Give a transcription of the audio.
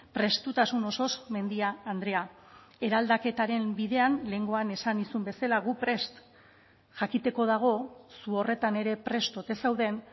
prestutasun osoz mendia andrea eraldaketaren bidean lehengoan esan nizun bezala gu prest jakiteko dago zu horretan ere prest ote zauden